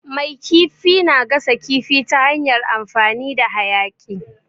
Mai kifi na gasa kifi ta hanyar amfani da hayaƙi.